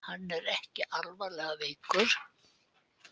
Hann er ekki alvarlega veikur